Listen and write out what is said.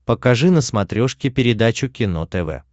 покажи на смотрешке передачу кино тв